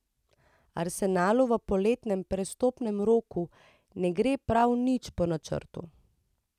Arsenalu v poletnem prestopnem roku ne gre pravi nič po načrtu.